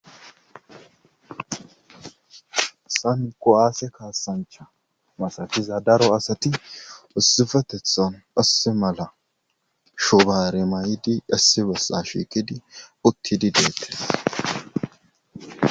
san ko7aase kaasancha masakiza daro asati ussifetethon usse mala shubare may7idi dassibessa shiikidi utti dideete